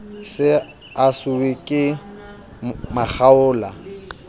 se a siuwe ke makgaola